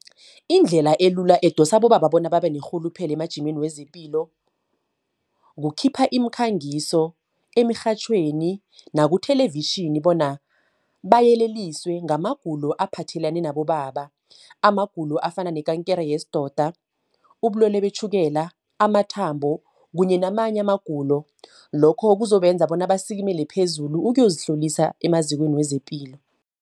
Indlela elula edosa abobaba bona babe nerhuluphelo emajimeni wezepilo. Kukhipha iimkhangiso emirhatjhweni, naku-television, bona bayeleliswe ngamagulo aphathelene nabobaba. Amagulo afana nekankere yesidoda, ubulwele betjhukela, amathambo, kunye namanye amagulo. Lokho kuzobenza bona basikimele phezulu ukuyozihlolisa emazikweni wezepilo.